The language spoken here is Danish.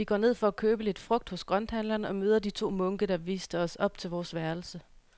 Vi går ned for at købe lidt frugt hos grønthandleren og møder de to munke, der viste os op til vores værelse.